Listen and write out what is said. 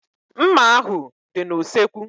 Mma ahu dị n'usekwu